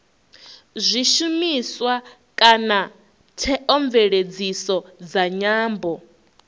zwishumiswa kana theomveledziso dza nyambo